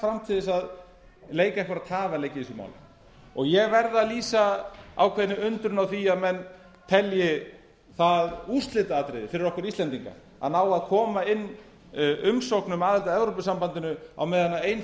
fram til að leika einhverja tafarleiki í þessu máli ég verð að lýsa ákveðinni undrun minni á því að menn telji það úrslitaatriði fyrir okkur íslendinga að ná að koma inn umsóknum um aðild að evrópusambandinu á meðan ein